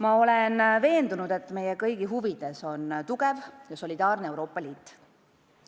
Ma olen veendunud, et meie kõigi huvides on tugev ja solidaarne Euroopa Liit.